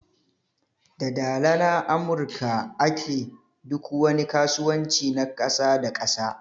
Da Dala na amurka a ke duk wani kasuwanci na kasa da kasa.